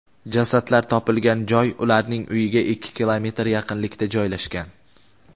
Jasadlar topilgan joy ularning uyiga ikki kilometr yaqinlikda joylashgan.